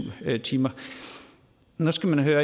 timer nu skal man høre